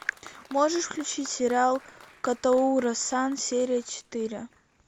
можешь включить сериал котоура сан серия четыре